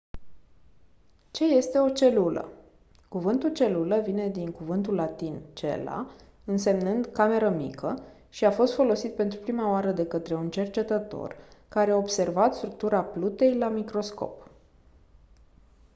ce este o celulă? cuvântul celulă vine din cuvântul latin «cella» însemnând «cameră mică» și a fost folosit pentru prima oară de către un cercetător care a observat structura plutei la microscop.